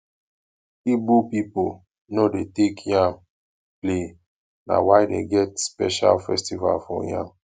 igbo pipo no dey take yam play na why dem get special festival for yam